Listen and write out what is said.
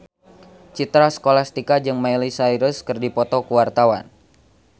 Citra Scholastika jeung Miley Cyrus keur dipoto ku wartawan